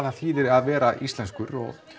það þýðir að vera íslenskur og